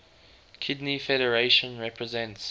kidney federation represents